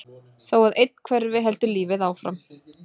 þó að einn hverfi heldur lífið áfram